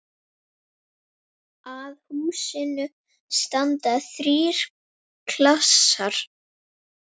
Að húsinu standa þrír klasar.